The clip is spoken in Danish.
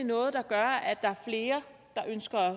noget der gør at der er flere der ønsker at